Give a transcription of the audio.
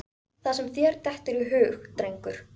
Það sem þér dettur í hug, drengur.